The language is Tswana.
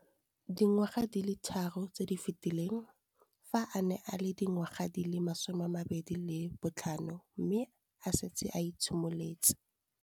Dingwaga di le 10 tse di fetileng, fa a ne a le dingwaga di le 23 mme a setse a itshimoletse